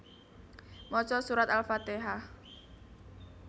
Maca surat Al fatehah